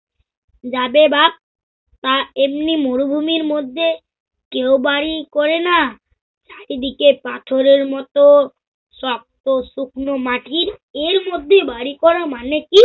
যাবে বাপ তা এমনি মরুভূমির মধ্যে কেও বাড়ি করেনা, চারিদিকে পাথরের মত শক্ত শুকনো মাটির এর মধ্যে বাড়ি করার মানে কি?